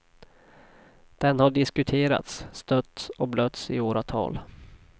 Den har diskuterats, stötts och blötts i åratal.